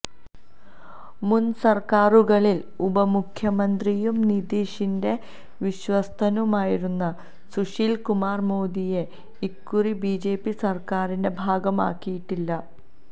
മുൻസർക്കാരുകളിൽ ഉപമുഖ്യമന്ത്രിയും നിതീഷിൻ്റെ വിശ്വസ്തനുമായിരുന്ന സുശീൽ കുമാർ മോദിയെ ഇക്കുറി ബിജെപി സർക്കാരിൻ്റെ ഭാഗമാക്കിയിട്ടില്ല